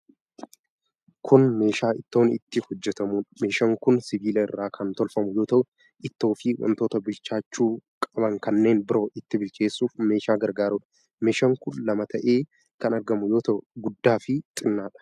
Kun meeshaa ittoon itti hojjatamudha. Meeshaan kun sibiila irra kan tolfamu yoo ta'u, Ittoo fi wantoota bilchaachuu qaban kanneen biroo itti bilcheessuuf meeshaa gargaarudha. Meeshaan kun lama ta'ee kan argamu yoo ta'u guddaa fi xinnaadha.